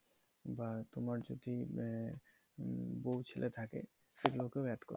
বা তোমার যদি আহ বউ ছেলে থাকে সেগুলো কেও add করতে পারবে।